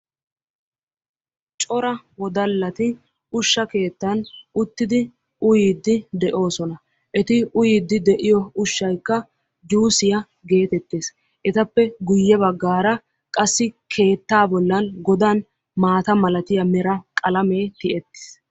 Cora wodallati ushsha keettan uttidi uyiidi de'oosona. Eti uttidi uyiyo ushaykka juusiya geetettes. etappe guye baggaara qassi keettaa bollan godan maata malatiya meran qalamee tiyettiis.